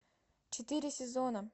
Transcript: четыре сезона